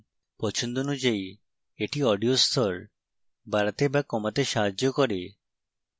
পছন্দ অনুযায়ী এটি audio স্তর বাড়াতে বা কমাতে সাহায্য করে